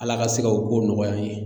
Ala ka se ka o ko nɔgɔya an ye.